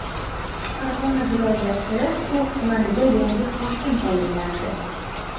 Farg‘ona viloyati So‘x tumaniga yangi hokim tayinlandi.